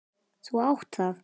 Þú átt það!